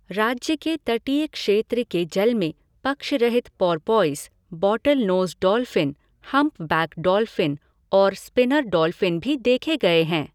राज्य के तटीय क्षेत्र के जल में पक्षरहित porpoise, bottlenose dolphin, humpback dolphin और स्पिनर डॉल्फ़िन भी देखे गए हैं।